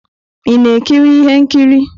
Ị na-ekiri ihe nkiri?